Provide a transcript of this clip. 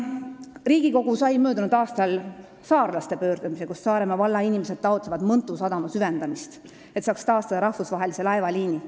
Riigikogu sai möödunud aastal saarlaste pöördumise, millega Saaremaa valla inimesed taotlevad Mõntu sadama süvendamist, et saaks taastada rahvusvahelise laevaliini.